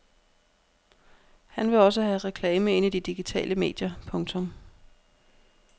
Han vil også have reklame ind i de digitale medier. punktum